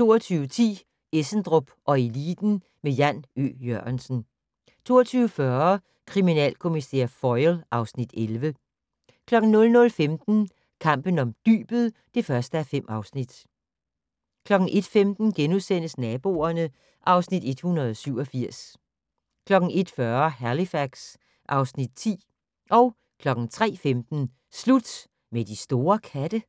22:10: Essendrop & Eliten med Jan Ø. Jørgensen 22:40: Kriminalkommissær Foyle (Afs. 11) 00:15: Kampen om dybet (1:5) 01:15: Naboerne (Afs. 187)* 01:40: Halifax (Afs. 10) 03:15: Slut med de store katte?